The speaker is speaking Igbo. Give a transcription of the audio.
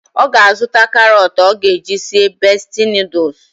Ọ ga-azụta karọt ọ ga-eji sie besti nọdụs